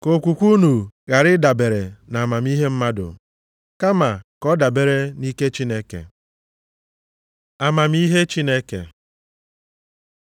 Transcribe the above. Ka okwukwe unu ghara ịdabere nʼamamihe mmadụ, kama ka ọ dabere nʼike Chineke. Amamihe Chineke